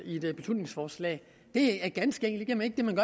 beslutningsforslag det er ganske enkelt ikke det man